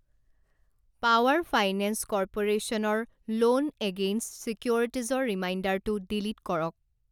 Power finance কৰ্প'ৰেশ্যনৰ loan against ছিকিউৰিটিজৰ ৰিমাইণ্ডাৰটো ডিলিট কৰক।